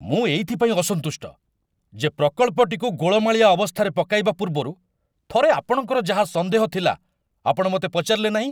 ମୁଁ ଏଇଥିପାଇଁ ଅସନ୍ତୁଷ୍ଟ, ଯେ ପ୍ରକଳ୍ପଟିକୁ ଗୋଳମାଳିଆ ଅବସ୍ଥାରେ ପକାଇବା ପୂର୍ବରୁ ଥରେ ଆପଣଙ୍କର ଯାହା ସନ୍ଦେହ ଥିଲା ଆପଣ ମୋତେ ପଚାରିଲେ ନାହିଁ।